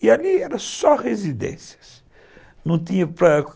E ali eram só residências. Não tinha